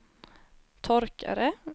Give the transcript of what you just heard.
torkare